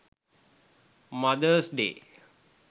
mothers day